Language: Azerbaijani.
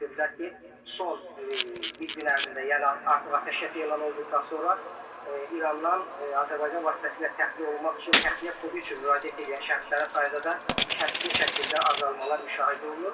Onlar bildirdilər ki, son bir gün ərzində, yəni artıq atəşkəs elan olunduqdan sonra İrandan Azərbaycan vasitəsilə təxliyə olunmaq üçün təxliyə kodu üçün müraciət eləyən şəxslərin sayında da kəskin şəkildə azalmalar müşahidə olunub.